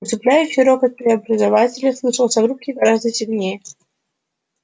усыпляющий рокот преобразователя слышался в рубке гораздо сильнее